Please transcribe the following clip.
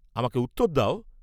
আমাকে উত্তর দেও।